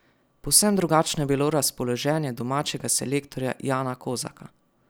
Povsem drugačno je bilo razpoloženje domačega selektorja Jana Kozaka.